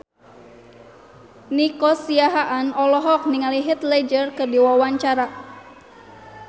Nico Siahaan olohok ningali Heath Ledger keur diwawancara